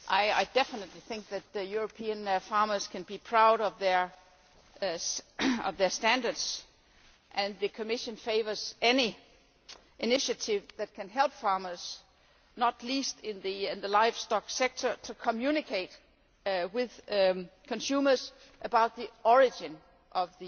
I definitely think that European farmers can be proud of their standards and the Commission favours any initiative that helps farmers, not least in the livestock sector, to communicate with consumers about the origin of